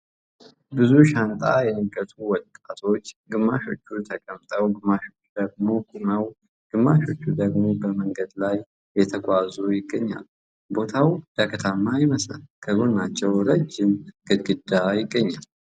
ብዙ ሻንጣ የነገቱ ወጣቶች ግማሾቹ ተቀምጦ ግማሾቹ ደግሞ ቁሞው ግማሾቹ ደግሞ በመንገድ ላይ የተጓዙ ይገኛሉ ቦታው ዳገታማ ይመስላል ከጎናቸውም ረጅም ግድግዳ ይገኛል ።